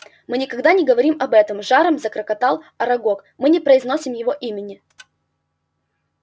мы никогда не говорим об этом с жаром заклокотал арагог мы не произносим его имени